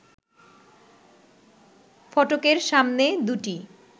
ফটকের সামনে দুটি